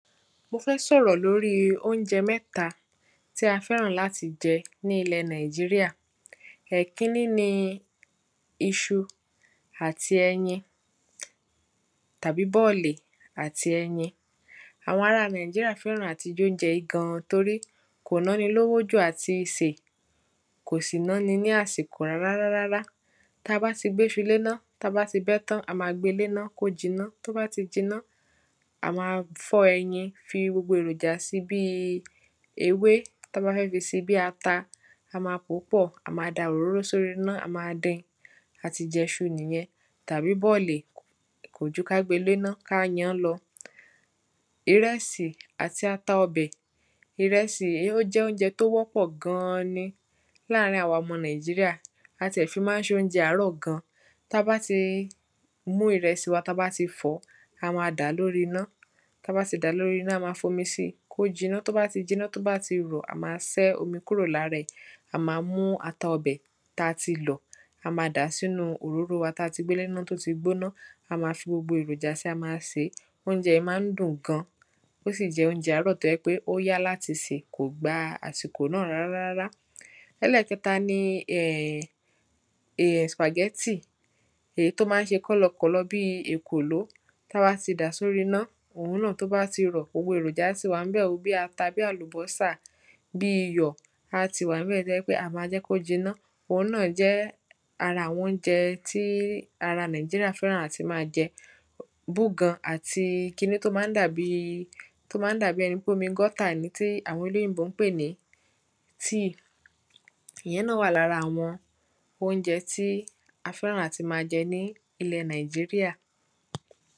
mo fẹ́ sọ̀rọ̀ lóri óunjẹ mẹ́ta tí a fẹ́ràn láti jẹ ní ilẹ̀ nàìjíríyà ẹ̀ kinní ni iṣu àti ẹyin tàbi bọ̀lì àti ẹyin àwọn ara nàìjíríyà fẹ́ràn àti jóunjẹ yí gan torí kọ̀ náni lówó jù àti sè kọ̀ sì náni ní àsìkò rárárárárá ta bá ti gbéṣu léná ta bá ti bẹ́ tán a ma gbe léná kó jiná tó bá jiná a ma fọ́ ẹyin fi gbogbo èròjà si bíi ewé ta bá fẹ́ fi se bí ata a ma pòó pọ̀ a ma da òróró sóriná a ma din a ti jẹṣu nìyẹn tàbi bọ̀lì kòju ká gbe léná ká yan lọ ìrẹsì àti ata ọbẹ̀ ìrẹsì ó jẹ́ óunjẹ tó wọ́ pọ̀ gan-an ni láàárín àwa ọmọ nàìjíríà a ti ẹ̀ fi má ń ṣe óunjẹ àárọ̀ gan ta bá ti mú ìrẹsì wa ta bá ti fọ̀ó a ma dà lóríná ta bá ti dà lóríná a ma fomi si kó jiná to bá ti jiná bá ti rọ̀ a ma sẹ́ omi kúrò lárẹ̀ a ma mú ata ọbẹ̀ ta ti lọ̀ a ma dà sínú òróró wa ta ti gbé léná tó ti gbóná a ma fi gbogbo èròjà si a ma se óunjẹ yí má ń dùn gan ó sì jẹ̀ óunjẹ àárọ̀ tò yẹ pé ó yá láti sè kò gba àsìkò náà rárárárá ẹlẹ́kẹta ni spàgẹ́tì èyí tó má ń ṣe kọ́lọkọ̀lọ bi èkòló ta bá ti dà sóríná òun náà tó bá ti rọ̀ gbogbo èròjà ti wà ń bẹ̀ o bí ata bí àlubọ́sà bí iyọ̀ á ti wà ń bẹ̀ tó jẹ́ wípé a ma jẹ́ kó jiná òun náà jẹ́ ara àwọn óunjẹ tí ara nàìjíríà fẹ́ràn à ti má jẹ búgan àti ki ní tó má ń dàbi tó má ń dàbi ẹni pé omi gọ́tà ni tí àwọn olóyìnbo ń pè ní tíì ìyẹn náà wáà lára àwọn óunjẹ tí a fẹ́ràn à ti má jẹ ní ilẹ̀ nàìjíríà